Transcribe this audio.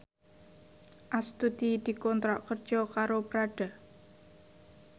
Astuti dikontrak kerja karo Prada